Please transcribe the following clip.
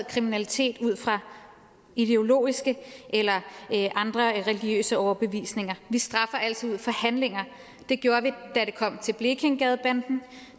kriminalitet ud fra ideologiske eller andre religiøse overbevisninger vi straffer altid ud fra handlinger det gjorde vi da det kom til blekingegadebanden